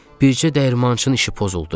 Bircə dəyirmançının işi pozuldu.